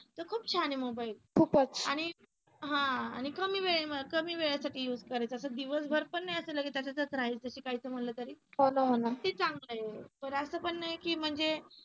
खूप छान आहे मोबाईल आणि हा अह आणि कमी वेळे कमी वेळेसाठी use करायचा तर दिवसभर पण नाही असं लगेच त्याच्यातच राहायचं हे काही समजलं तरी ते चांगल आहे बर असं पण नाही की म्हणजे